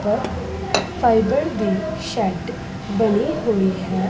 Fibre ਦੀ shed ਬਣੀ ਹੋਈ ਹੈ।